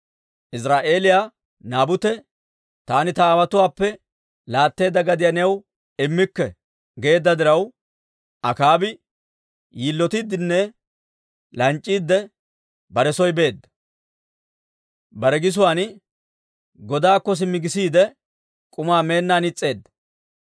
Iziraa'eeliyaa Naabute, «Taani ta aawotuwaappe laatteedda gadiyaa new immikke» geedda diraw, Akaabi yilotiiddenne lanc'c'iide bare soo beedda. Bare gisuwaan godaakko simmi gisiide, k'umaa meennaan is's'eedda.